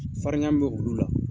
Farin ya min bɛ olu la.